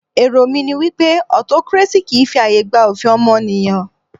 Èrò mí ní wípé autocracy kìí fi ààyè gba òfin ọmọnìyàn.